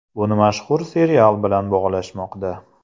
Buni mashhur serial bilan bog‘lashmoqda.